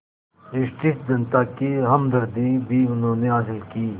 British जनता की हमदर्दी भी उन्होंने हासिल की